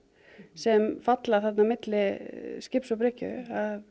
sem falla þarna á milli skips og bryggju